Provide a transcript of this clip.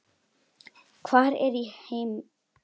hart er í heimi